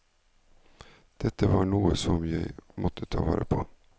Dette var noe som jeg måtte ta vare på.